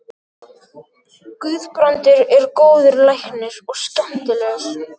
Guðbrandur er góður læknir og skemmtilegur.